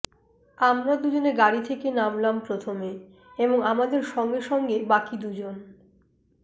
আমরা দুজনে গাড়ি থেকে নোমলাম প্রথমে এবং আমাদের সঙ্গে সঙ্গে বাকি দুজন